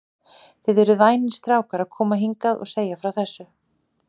Þið eruð vænir strákar að koma hingað og segja frá þessu.